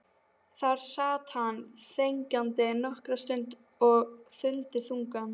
Þar sat hann þegjandi nokkra stund og stundi þungan.